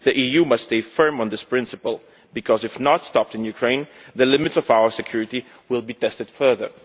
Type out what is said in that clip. The EU must stay firm on this principle because, if the trend is not stopped in Ukraine, the limits of our security will be tested further.